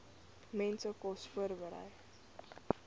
mense kos voorberei